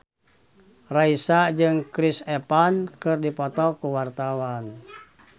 Raisa jeung Chris Evans keur dipoto ku wartawan